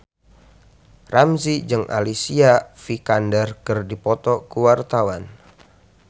Ramzy jeung Alicia Vikander keur dipoto ku wartawan